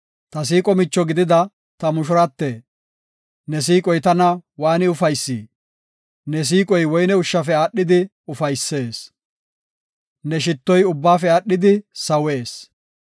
Ta siiqo micho gidida ta mushurate! Ne siiqoy tana waani ufaysi! Ne siiqoy woyne ushshafe aadhidi ufaysees; ne shittoy ubbaafe aadhidi sawees.